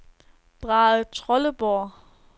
Brahetrolleborg